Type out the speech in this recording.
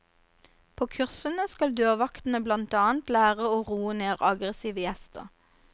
På kursene skal dørvaktene blant annet lære å roe ned aggressive gjester.